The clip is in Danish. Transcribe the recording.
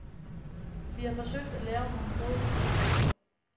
Vi har forsøgt at lave nogle gode produkter.